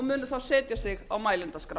muni þá setja sig á mælendaskrá